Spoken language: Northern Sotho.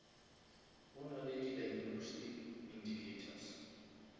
go nale di diagnostic indicators